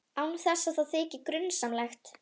Án þess að það þyki grunsamlegt.